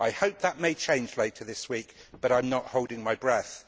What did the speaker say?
I hope that may change later his week, but I am not holding my breath.